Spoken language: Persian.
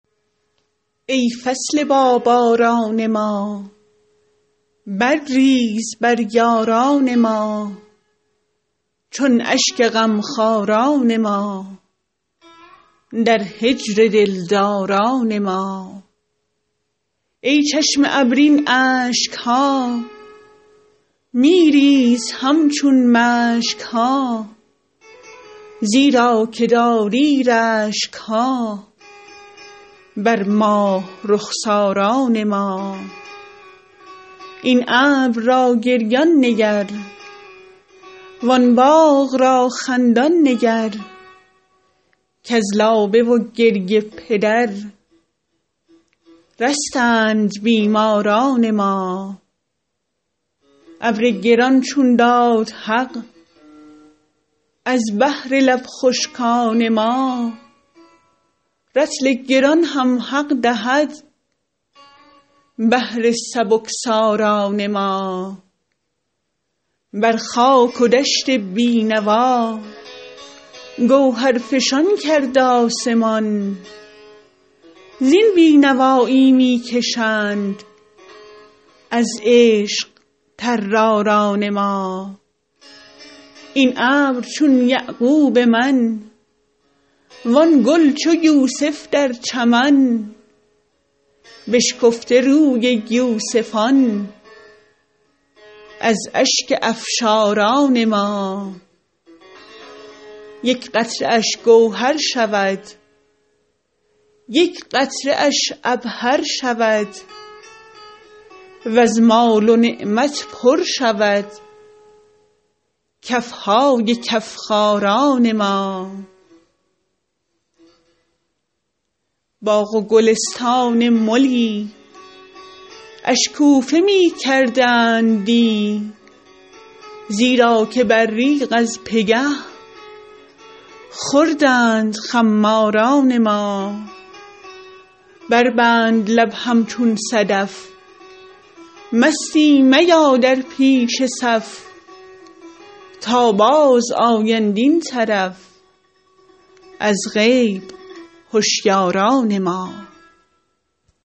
ای فصل باباران ما برریز بر یاران ما چون اشک غمخواران ما در هجر دلداران ما ای چشم ابر این اشک ها می ریز همچون مشک ها زیرا که داری رشک ها بر ماه رخساران ما این ابر را گریان نگر وان باغ را خندان نگر کز لابه و گریه پدر رستند بیماران ما ابر گران چون داد حق از بهر لب خشکان ما رطل گران هم حق دهد بهر سبکساران ما بر خاک و دشت بی نوا گوهرفشان کرد آسمان زین بی نوایی می کشند از عشق طراران ما این ابر چون یعقوب من وان گل چو یوسف در چمن بشکفته روی یوسفان از اشک افشاران ما یک قطره اش گوهر شود یک قطره اش عبهر شود وز مال و نعمت پر شود کف های کف خاران ما باغ و گلستان ملی اشکوفه می کردند دی زیرا که ابریق از پگه خوردند خماران ما بربند لب همچون صدف مستی میا در پیش صف تا بازآیند این طرف از غیب هشیاران ما